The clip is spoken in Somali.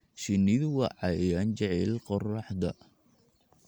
Shinnidu waa cayayaan jecel qorraxda.